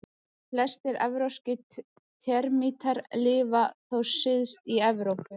Flestir evrópskir termítar lifa þó syðst í Evrópu.